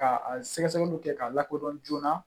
Ka a sɛgɛsɛgɛliw kɛ k'a lakodɔn joona